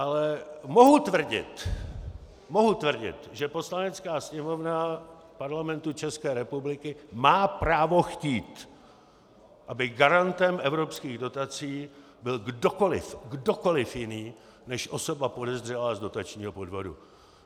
Ale mohu tvrdit, mohu tvrdit, že Poslanecká sněmovna Parlamentu České republiky má právo chtít, aby garantem evropských dotací byl kdokoliv - kdokoliv - jiný než osoba podezřelá z dotačního podvodu.